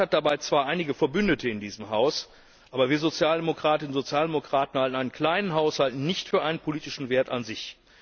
Der Rat hat dabei zwar einige Verbündete in diesem Haus, aber wir Sozialdemokratinnen und Sozialdemokraten halten einen kleinen Haushalt nicht für einen politischen Wert an sich.